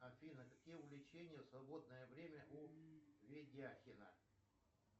афина какие увлечения в свободное время у ведяхина